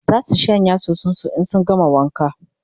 zasu shanya soson su in sun gama wanka